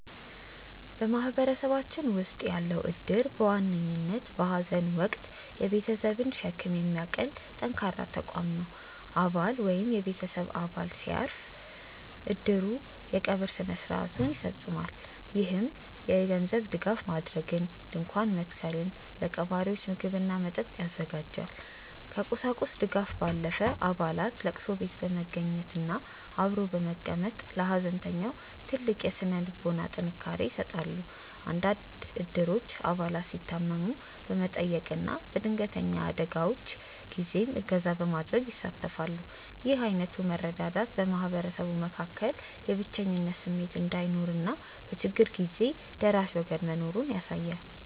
በማህበረሰባችን ውስጥ ያለው እድር በዋነኝነት በሐዘን ወቅት የቤተሰብን ሸክም የሚያቀል ጠንካራ ተቋም ነው። አባል ወይም የቤተሰብ አባል ሲያርፍ፣ እድሩ የቀብር ሥነ ሥርዓቱን ያስፈፅማል። ይህም የገንዘብ ድጋፍ ማድረግን፣ ድንኳን መትከልን፣ ለቀባሪዎች ምግብና መጠጥ ያዘጋጃል። ከቁሳቁስ ድጋፍ ባለፈ፣ አባላት ለቅሶ ቤት በመገኘትና አብሮ በመቀመጥ ለሐዘንተኛው ትልቅ የሥነ ልቦና ጥንካሬ ይሰጣሉ። አንዳንድ እድሮች አባላት ሲታመሙ በመጠየቅና በድንገተኛ አደጋዎች ጊዜም እገዛ በማድረግ ይሳተፋሉ። ይህ ዓይነቱ መረዳዳት በማህበረሰቡ መካከል የብቸኝነት ስሜት እንዳይኖርና በችግር ጊዜ ደራሽ ወገን መኖሩን ያሳያል።